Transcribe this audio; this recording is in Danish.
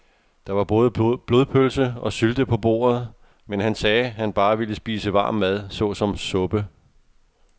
Der var både blodpølse og sylte på bordet, men han sagde, at han bare ville spise varm mad såsom suppe.